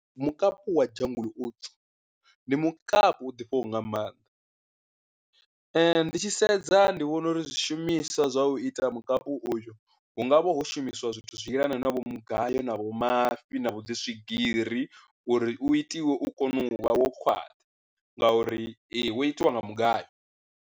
Mukapu wa jungle oats ndi mukapu u ḓifhaho nga maanḓa, ndi tshi sedza ndi vhona uri zwishumiswa zwa u ita mukapi uyu hu nga ho vha ho shumisiwa zwithu zwi yelana na vho mugayo na vho mafhi na vhu dzi swigiri uri u itiwe u kone u vha wo khwaṱha, ngauri ee wo itiwa nga mugayo.